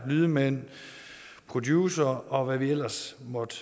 lydmænd producere og hvad der ellers måtte